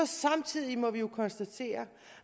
samtidig må vi så konstatere